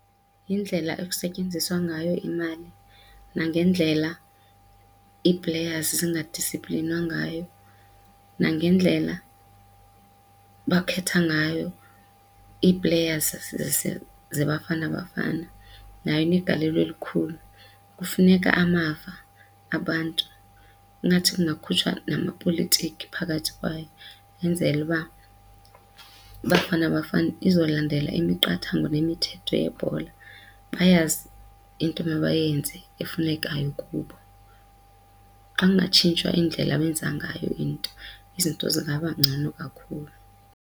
Yindlela ekusetyenziswa ngayo imali nangendlela ii-players zingadisiplinwa ngayo, nangendlela bakhetha ngayo ii-players zeBafana Bafana nayo inegalelo elikhulu. Kufuneka amava abantu ingathi kungakhutshwa namapolitiki phakathi kwayo kwenzele uba iBafana Bafana izolandela imiqathango nemithetho yebhola bayazi into mabayenze efunekayo kubo. Xa kungatshintshwa indlela abenza ngayo into, izinto zingaba ngcono kakhulu.